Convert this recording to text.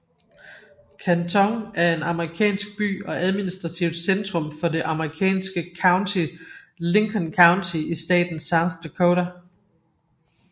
Canton er en amerikansk by og administrativt centrum for det amerikanske county Lincoln County i staten South Dakota